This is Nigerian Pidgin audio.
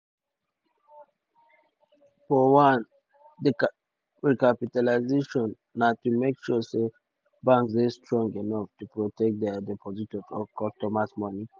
for one di recapitalisation na to make sure say banks dey strong enough to protect dia depositors or customers moni.